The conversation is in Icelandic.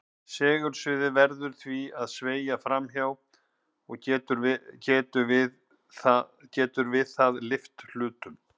Segulsviðið verður því að sveigja fram hjá og getur við það lyft hlutnum.